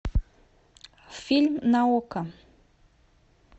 фильм на окко